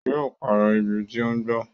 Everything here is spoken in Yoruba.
Yó pàrọ̀ ibi tí ó ń gbó